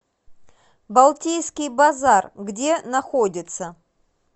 балтийский базар где находится